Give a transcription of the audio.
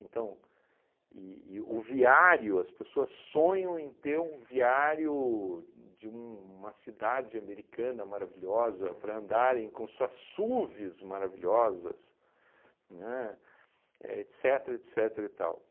Então, e e o o viário, as pessoas sonham em ter um viário de uma cidade americana maravilhosa para andarem com suas SUVs maravilhosas, né? Éh etcetera, etcetera e tal